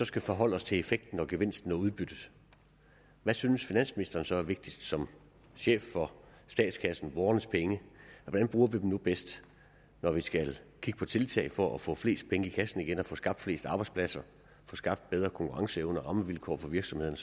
skal forholde os til effekten gevinsten og udbyttet hvad synes finansministeren så er vigtigst som chef for statskassen borgernes penge hvordan bruger vi dem nu bedst når vi skal kigge på tiltag for at få flest mulige penge i kassen igen og få skabt flest arbejdspladser få skabt bedre konkurrenceevne og rammevilkår for virksomhederne